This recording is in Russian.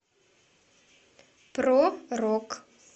про рок